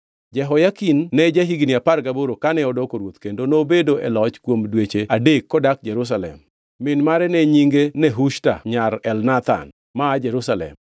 Jehoyakin ne ja-higni apar gaboro kane odoko ruoth, kendo nobedo e loch kuom dweche adek kodak Jerusalem. Min mare ne nyinge Nehushta nyar Elnathan, ma aa Jerusalem.